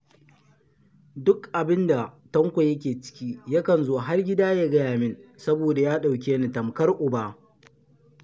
Duk abun da Tanko yake ciki yakan zo har gida ya gaya min saboda ya ɗauke ni tamkar uba